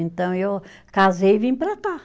Então, eu casei e vim para cá.